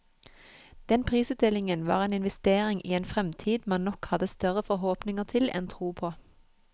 Den prisutdelingen var en investering i en fremtid man nok hadde større forhåpninger til enn tro på.